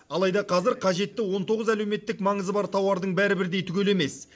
алайда қазір қажетті он тоғыз әлеуметтік маңызы бар тауардың бәрі бірдей түгел емес